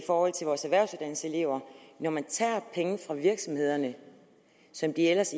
forhold til vores erhvervsuddannelseselever når man tager penge fra virksomhederne som de ellers